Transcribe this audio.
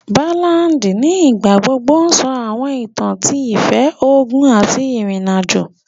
Báládì nígbà gbogbo sọ àwọn ìtàn ti ìfẹ́, ogun àti ìrìnàjò